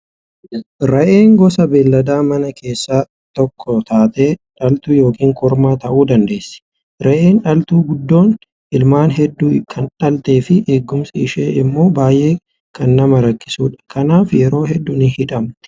Re'een gosa beellada manaa keessaa tokko taatee dhaltuu yookiin kormaa ta'uu dandeessi. Re'een dhaltuu guddoon ilmaan hedduu kan dhaltee fi eegumsi ishee immoo baay'ee kan nama rakkisudha. Kanaaf yeroo hedduu ni hidhamti.